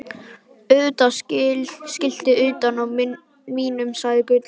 Auðvitað skiltið utan á mínum, sagði Gulli.